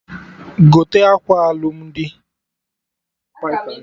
Gote akwa alụmdi!